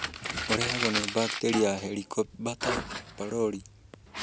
ũrehagwo nĩ bakteria ya Helicobater pylori